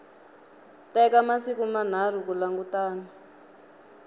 teka masiku manharhu ku langutana